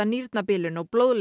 nýrnabilun og blóðleysi